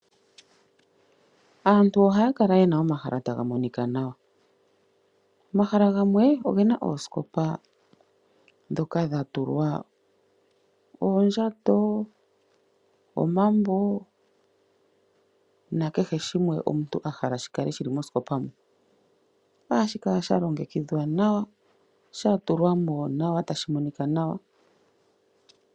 Aantu ohaya kala yena omahala taga monika nawa gamwe . Omahala gamwe ogena oosikopa ndhoka dhatulwa oondjato, omambo nakehe shimwe omuntu ahala shikale shili mosikopa muka. Ohashi kala sha longekidhwa, shatulwaml nawa tashi monika nawa.